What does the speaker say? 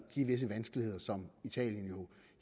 give visse vanskeligheder som italien jo